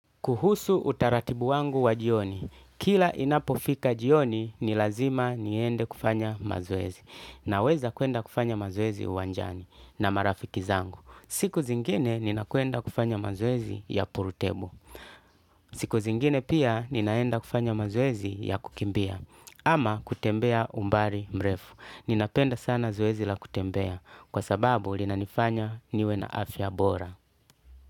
Kuhusu utaratibu wangu wa jioni. Kila inapofika jioni ni lazima niende kufanya mazoezi. Naweza kwenda kufanya mazoezi uwanjani na marafiki zangu. Siku zingine ninakwenda kufanya mazoezi ya pool table. Siku zingine pia ninaenda kufanya mazwezi ya kukimbia. Ama kutembea umbali mrefu. Ninapenda sana zoezi la kutembea. Kwa sababu linanifanya niwe na afya bora.